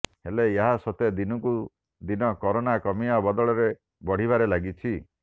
ହେଲେ ଏହା ସତ୍ତ୍ୱେ ଦିନକୁ ଦିନ କରୋନା କମିବା ବଦଳରେ ବଢିବାରେ ଲାଗିଛି